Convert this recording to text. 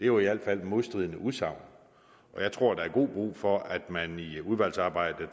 jo i alt fald modstridende udsagn og jeg tror der er god brug for at man i udvalgsarbejdet